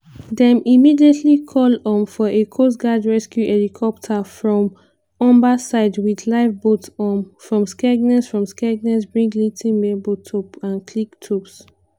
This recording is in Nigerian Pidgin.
dem immediately call um for a coastguard rescue helicopter from humberside wit lifeboats um from skegness from skegness bridlington mablethorpe and cleethorpes.